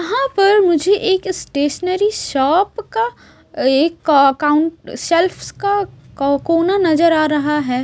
यहां पर मुझे एक स्टेशनरी शॉप का एक काउंट शेल्फश का कोना नजर आ रहा है।